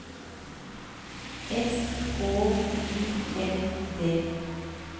S K Y L D